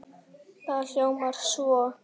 Það hljómar svo